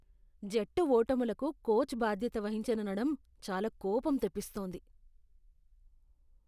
జట్టు ఓటములకు కోచ్ బాధ్యత వహించననడం చాలా కోపం తెప్పిస్తోంది.